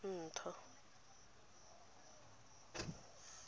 ntho